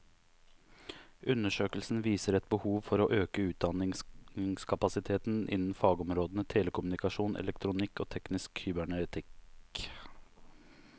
Undersøkelsen viser et behov for å øke utdanningskapasiteten innen fagområdene telekommunikasjon, elektronikk og teknisk kybernetikk.